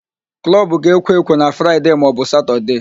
Klọbụ ga-ekwo ekwo na Fraịde maọbụ Satọde